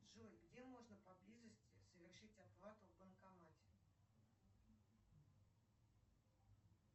джой где можно поблизости совершить оплату в банкомате